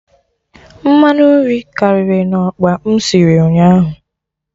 Mmanụ nri karịrị na okpa m sịrị ụnyaahụ